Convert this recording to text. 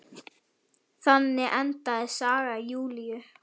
Þannig endaði saga Júlíu.